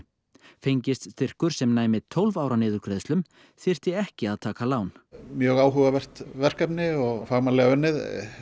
fengist styrkur sem næmi tólf ára niðurgreiðslum þyrfti ekki að taka lán mjög áhugavert verkefni og fagmannlega unnið